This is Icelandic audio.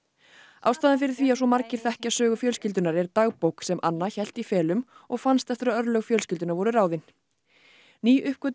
ástæðan fyrir því að svo margir þekkja sögu fjölskyldunnar er dagbók sem Anna hélt í felum og fannst eftir að örlög fjölskyldunnar voru ráðin